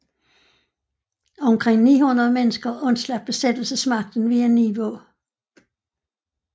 Omkring 900 mennesker undslap besættelsesmagten via Nivå